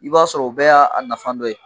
I b'a sɔrɔ o bɛɛ y'a a nafa dɔ ye